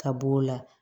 Ka b'o la